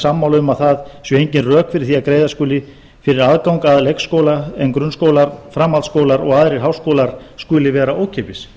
sammála um að það séu engin rök fyrir því að greiða skuli fyrir aðgang að leikskóla en grunnskólar framhaldsskólar og aðrir háskólar skuli vera ókeypis